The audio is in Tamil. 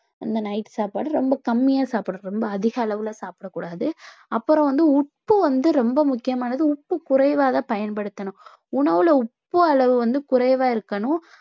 அந்த night சாப்பாடு ரொம்ப கம்மியா ரொம்ப அதிக அளவுல சாப்பிடக்கூடாது அப்புறம் வந்து உப்பு வந்து ரொம்ப முக்கியமானது உப்பு குறைவாக பயன்படுத்தணும் உணவுல உப்பு அளவு வந்து குறைவா இருக்கணும்